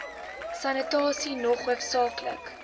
sanitasie nog hoofsaaklik